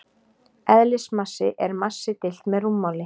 Eðlismassi er massi deilt með rúmmáli.